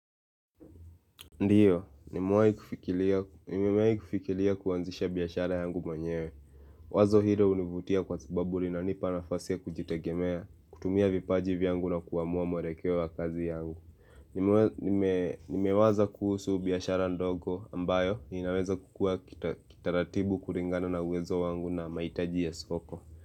Ndio, nimewai kufikilia kuanzisha biashara yangu mwenyewe. Wazo hilo hunivutia kwa sababu linanipa nafasi ya kujitegemea, kutumia vipaji vyangu na kuamua mwerekeo wa kazi yangu. Nimewaza kuhusu biashara ndogo ambayo inaweza kukua kitaratibu kuringana na uwezo wangu na mahitaji ya soko.